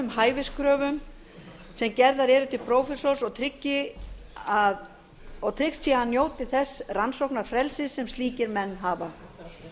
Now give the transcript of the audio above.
hæfiskröfum sem gerðar eru til prófessors og tryggt sé að njóti þess rannsóknarfrelsis sem slíkir menn hafa